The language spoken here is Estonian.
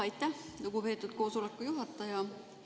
Aitäh, lugupeetud koosoleku juhataja!